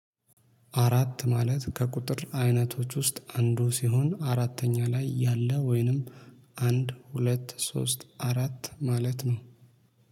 አራት ማለት ከቁጥር አይነቶች ውስጥ አንዱ ሲሆን አራተኛ ላይ ያለ ወይንም አንድ ሁለት ሶስት አራት ማለት ነው